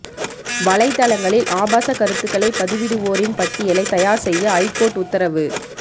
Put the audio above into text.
வலைதளங்களில் ஆபாச கருத்துக்களை பதிவிடுவோரின் பட்டியலை தயார் செய்ய ஐகோர்ட் உத்தரவு